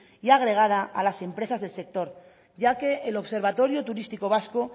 y agregada a las empresas del sector ya que el observatorio turístico vasco